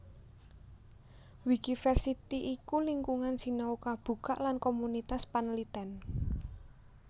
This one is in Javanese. Wikiversity iku lingkungan sinau kabukak lan komunitas panlitèn